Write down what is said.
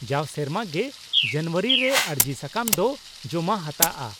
ᱼᱡᱟᱣ ᱥᱮᱨᱢᱟ ᱜᱮ ᱡᱟᱱᱩᱣᱟᱨᱤ ᱨᱮ ᱟᱹᱨᱡᱤ ᱥᱟᱠᱟᱢ ᱫᱚ ᱡᱚᱢᱟ ᱦᱟᱛᱟᱜᱼᱟ ᱾